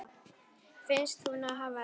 Finnst hún hafa elst.